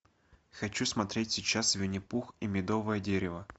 хочу смотреть сейчас винни пух и медовое дерево